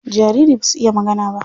Jariri basu iya magana ba.